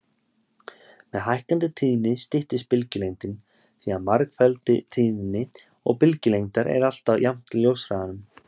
Með hækkandi tíðni styttist bylgjulengdin því að margfeldi tíðni og bylgjulengdar er alltaf jafnt ljóshraðanum.